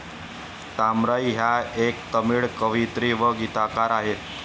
तामराई ह्या एक तामिळ कवयित्री व गीतकार आहेत.